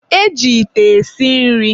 e ji ite esi nri.